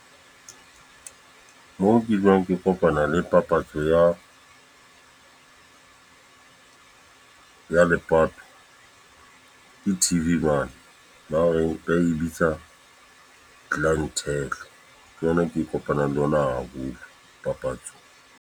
Moo ke dulang ke kopana le papatso ya ya lepato. Ke T_V mane, ba e bitsa Clientele, ke yona ke kopana le yona haholo papatsong.